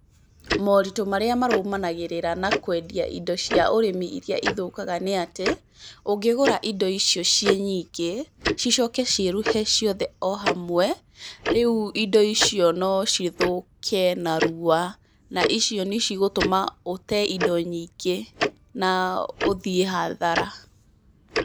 Maũritũ marĩa marũmanagĩrĩra na kwendia indo cia ũrĩmi iria ithũkaga nĩ atĩ ũngĩgũra indo ico ciĩ nyingĩ, cicoke ciĩruhe ciothe o hamwe, rĩu indo icio no cithũke narua na icio nĩ cigũtũma ũte indo nyingĩ na ũthiĩ hathara.